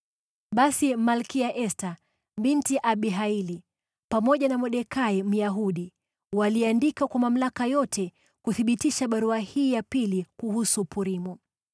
Basi Malkia Esta binti Abihaili, pamoja na Mordekai, Myahudi, waliandika kwa mamlaka yote kuthibitisha barua hii ya pili kuhusu Purimu.